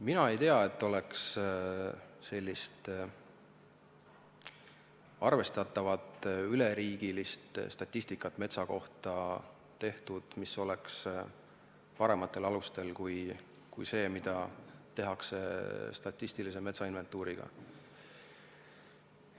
Mina ei tea, et metsa kohta oleks tehtud sellist arvestatavat üleriigilist statistikat, mis oleks parematel alustel kui see, mida tehakse statistilise metsainventuuri abil.